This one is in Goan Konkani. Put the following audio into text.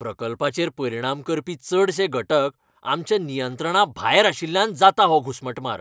प्रकल्पाचेर परिणाम करपी चडशे घटक आमच्या नियंत्रणाभायर आशिल्ल्यान जाता हो घुसमटमार.